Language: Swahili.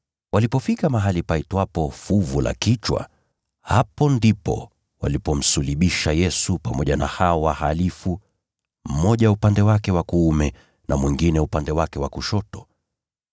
Walipofika mahali paitwapo Fuvu la Kichwa, hapo ndipo walipomsulubisha Yesu pamoja na hao wahalifu, mmoja upande wake wa kuume na mwingine upande wake wa kushoto.